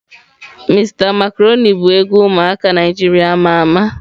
Mr macaroni bu egwu umuaka Naijiria ama ama.